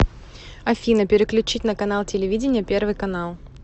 афина переключить на канал телевидения первый канал